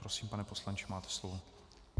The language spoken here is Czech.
Prosím, pane poslanče, máte slovo.